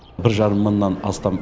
бір жарым мыңнан астам